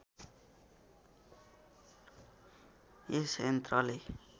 यस यन्त्रले